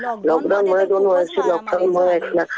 Lockdown मध्ये तर खूपच मारामारी झाली. हो.